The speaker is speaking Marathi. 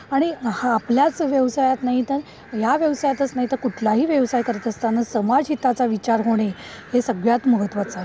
आणि आपल्या व्यवसायात नाही तर या व्यवसायातच नाही तर इतर कुठलाही व्यवसाय करताना समाजहिताचा विचार करणे हे सगळ्यात महत्वाचे आहे.